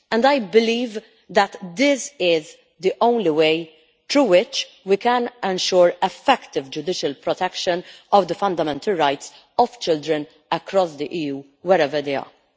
I believe that this is the only way through which we can ensure effective judicial protection of the fundamental rights of children across the EU, wherever they are.